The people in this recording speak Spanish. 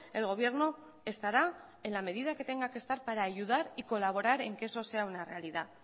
el gobierno estará en la medida que tenga que estar para ayudar y colaborar en que eso sea una realidad